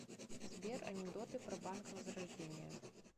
сбер анекдоты про банк возрождение